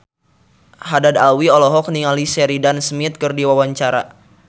Haddad Alwi olohok ningali Sheridan Smith keur diwawancara